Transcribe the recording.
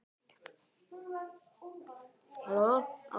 Ekki er ég viss um það.